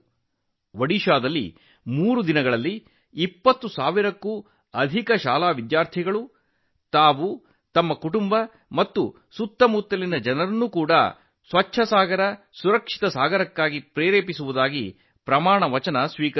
ಒಡಿಶಾದಲ್ಲಿ ಮೂರು ದಿನಗಳಲ್ಲಿ 20 ಸಾವಿರಕ್ಕೂ ಹೆಚ್ಚು ಶಾಲಾ ವಿದ್ಯಾರ್ಥಿಗಳು ಸ್ವಚ್ಛ ಸಾಗರಸುರಕ್ಷಿತ ಸಾಗರ ಉಪಕ್ರಮಕ್ಕಾಗಿ ತಮ್ಮ ಕುಟುಂಬ ಮತ್ತು ಇತರರನ್ನು ಪ್ರೇರೇಪಿಸುವುದಾಗಿ ಪ್ರತಿಜ್ಞೆ ಮಾಡಿದರು